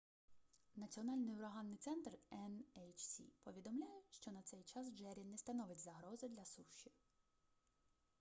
національний ураганний центр nhc повідомляє що на цей час джеррі не становить загрози для суші